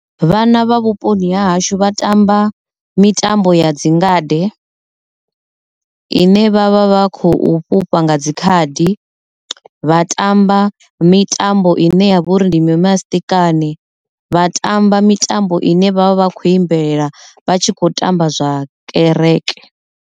Vhana vha vhuponi ha hashu vha tamba mitambo ya dzingade ine vhavha vha khou fhufha nga dzi khadi vha tamba mitambo ine ya vha uri ndi mimasiṱikani vha tamba mitambo ine vha vhori vha vha kho imbelelela vha tshi kho tamba zwa kereke.